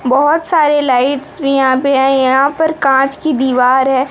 बहोत सारे लाइट्स भी यहां पे हैं यहां पर कांच की दीवार है।